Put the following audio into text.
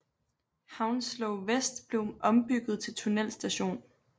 Hounslow West blev ombygget til tunnelstation